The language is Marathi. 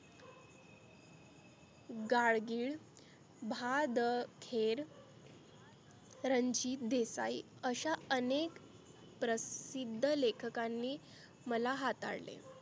गाडगीळ, भा द खेड, रंजीत देसाई अशा अनेक प्रसिद्ध लेखकांनी मला हाताळले.